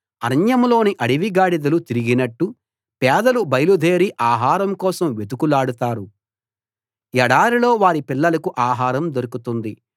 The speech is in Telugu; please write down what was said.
అరణ్యంలోని అడవి గాడిదలు తిరిగినట్టు పేదలు బయలుదేరి ఆహారం కోసం వెతుకులాడతారు ఎడారిలో వారి పిల్లలకు ఆహారం దొరుకుతుంది